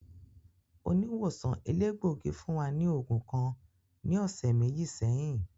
Oniwosan elegbogi fun wa ni oogun kan ni ọsẹ meji sẹhin.